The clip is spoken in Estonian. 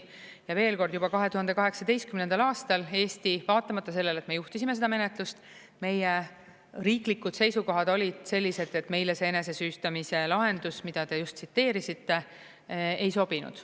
Ja veel kord: juba 2018. aastal Eesti, vaatamata sellele, et me juhtisime seda menetlust, meie riiklikud seisukohad olid sellised, et meile see enesesüüstamise lahendus, mida te just tsiteerisite, ei sobinud.